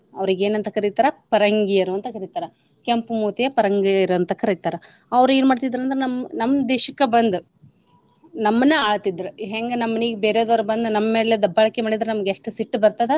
ಅವ್ರಿಗ ಏನ ಅಂತ ಕರಿತಾರ ಪರಂಗಿಯರು ಅಂತ ಕರಿತಾರ. ಕೆಂಪು ಮೂತಿಯ ಪರಂಗಿಯರು ಅಂತ ಕರಿತಾರ. ಅವ್ರ ಏನ ಮಾಡ್ತಿದ್ರ ಅಂದ್ರ ನಮ್ ನಮ್ ದೇಶಕ್ಕ ಬಂದ ನಮ್ಮನ್ನ ಆಳ್ತಿದ್ರ. ಹೆಂಗ ಬೇರೆದವ್ರ ಬಂದ ನಮ್ಮ ಮೇಲೆ ದಬ್ಬಾಳಿಕೆ ಮಾಡಿದ್ರ ನಮಗ ಎಷ್ಟ ಸಿಟ್ಟ ಬರ್ತದ.